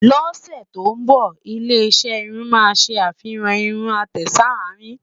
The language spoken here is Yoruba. ló ṣé tó nbọ, ilé iṣé irún má sé àfihàn irún àtẹ s'arin